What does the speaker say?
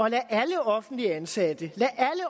af alle offentligt ansatte